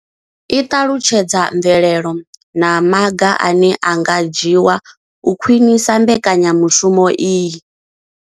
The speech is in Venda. I ṱalutshedza mvelelo na maga ane a nga dzhiwa u khwinisa mbekanyamushumo iyi.